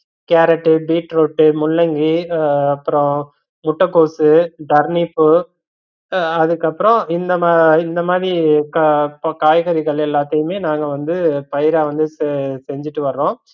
carrot, beetroot, முள்ளங்கி ஆஹ் அப்பரோ முட்டைகோசு, டர்னிப்பு அதுக்கப்பறம் இந்த மா இந்த மாதிரி க்காய்~ காய்கறிகள் எல்லாத்தயுமே நாங்க வந்து பயிரா வந்து செ~ செஞ்சுட்டு வர்றோம்